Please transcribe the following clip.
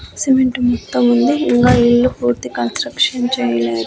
cement మొత్తం ఉంది ఇంగా ఇల్లు పూర్తి కన్స్ట్రక్షన్ చేయలే--